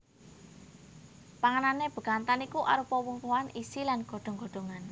Panganane bekantan iku arupa woh wohan isi lan godhong godhongan